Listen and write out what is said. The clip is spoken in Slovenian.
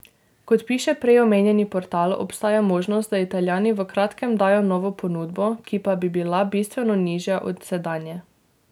Kot piše prej omenjeni portal, obstaja možnost, da Italijani v kratkem dajo novo ponudbo, ki pa bi bila bistveno nižja od sedanje.